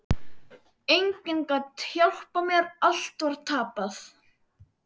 Enginn gat hjálpað mér, allt var tapað.